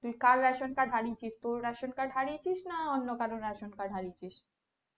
তুই কার ration card হারিয়েছিস, তোর ration card হারিয়েছিস না অন্য কারো ration card হারিয়েছিস?